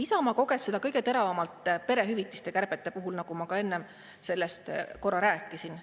Isamaa koges seda kõige teravamalt perehüvitiste kärbete puhul, nagu ma ka enne sellest korra rääkisin.